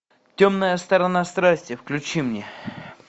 темная сторона страсти включи мне